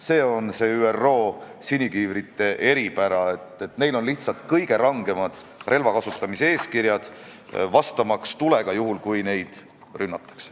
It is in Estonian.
See on ÜRO sinikiivrite eripära, et neil on kõige rangemad eeskirjad relvade kasutamiseks, kui nad tahavad vastata tulega, kui neid rünnatakse.